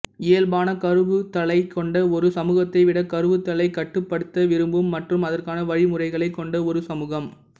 இயல்பான கருவுறுதலைக் கொண்ட ஒரு சமூகத்தை விட கருவுறுதலைக் கட்டுப்படுத்த விரும்பும் மற்றும் அதற்கான வழிமுறைகளைக் கொண்ட ஒரு சமூகம்